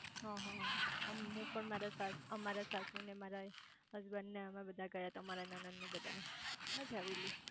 હ હ હું પણ મારા અમારા સાસુ મારા હસબન્ડ ને અમે બધા ગયા તા મારા નણંદ ને બધા મજા આવેલી